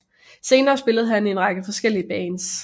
Senere spillede han i en række forskellige Bands